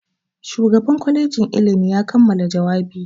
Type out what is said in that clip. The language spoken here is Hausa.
Shugan kwalejin ilimi ya kammala jawabi.